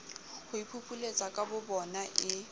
ho iphupuletsa ka bobona e